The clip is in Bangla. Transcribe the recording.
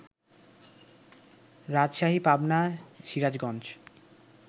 রাজশাহী, পাবনা, সিরাজগঞ্জ